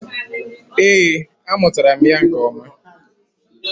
Ee, amụtara m ya nke ọma.